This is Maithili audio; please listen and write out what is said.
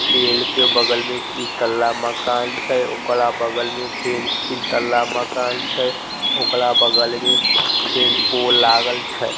पेड़ के बगल में तीन तल्ला मकान छै ओकरा बगल में फेन तीन तल्ला मकान छै ओकरा बगल मे फेन पोल लागल छै।